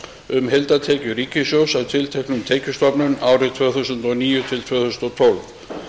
um heildartekjur ríkissjóðs af tilteknum skattstofnum árin tvö þúsund og níu til tvö þúsund og tólf